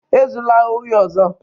Ezula ohi ọzọ!